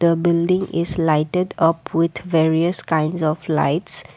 a building is lighted up with various kinds of lights.